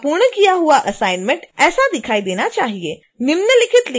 आपका पूर्ण किया हुआ असाइनमेंट ऐसा दिखाई देना चाहिए